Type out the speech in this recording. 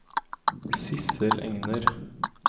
Sidsel Enger